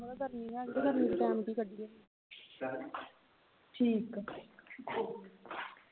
ਬਹੁਤ ਗਰਮੀ ਹੈਗੀ ਤੇ ਗਰਮੀ ਵਿਚ time ਕੀ ਕੱਢੀਏ ਠੀਕ ਆ